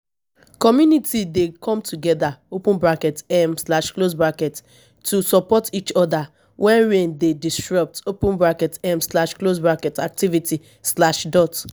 community dey come together open bracket um slash close bracket to support each oda wen rain dey disrupt open bracket um slash close bracket activity slash dot